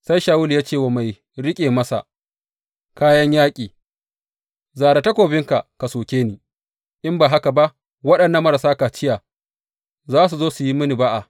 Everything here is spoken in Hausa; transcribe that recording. Sai Shawulu ya ce wa mai riƙe masa kayan yaƙi, Zare takobinka ka soke ni, in ba haka ba waɗannan marasa kaciya za su zo su yi mini ba’a.